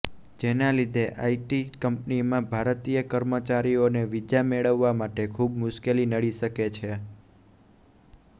જેના લીધે આઈટી કંપનીમાં ભારતીય કર્મચારીઓને વિઝા મેળવવા માટે ખુબ મુશ્કેલી નડી શકે છે